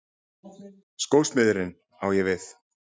Skósmiðurinn, á ég við.